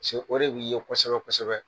o de wilile kosɛbɛ kosɛbɛ.